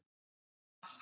Skála